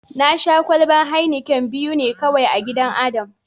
Na Sha kwalban "Heineken " biyu ne kawai a gidan Adam.